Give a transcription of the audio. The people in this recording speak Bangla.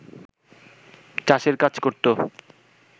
চাষের কাজ করত